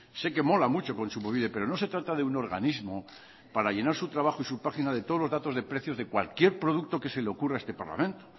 sé que mola mucho kontsumobide pero no se trata de un organismo para llenar su trabajo y su página de todos los datos de precios de cualquier producto que se le ocurra a este parlamento